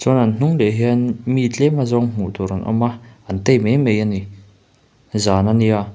chuan an hnung leh hian mi tlem azawng hmuhtur an awm a an tei mai mai a ni zan ania --